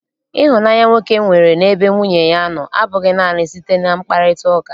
Ịhụnanya nwoke nwere n'ebe nwunye ya nọ abụghị naanị site na mkparịtaụka.